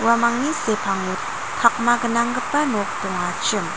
uamangni sepango pakma gnanggipa nok dongachim.